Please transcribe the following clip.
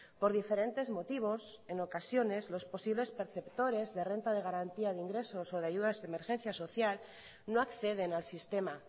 por diferentes motivos en ocasiones los posibles perceptores de renta de garantía de ingresos o las aes no acceden al sistema